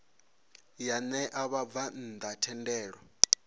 ya ṋea vhabvann ḓa thendelo